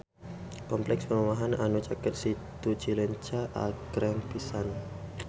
Kompleks perumahan anu caket Situ Cileunca agreng pisan